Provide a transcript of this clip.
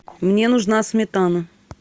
мне нужна сметана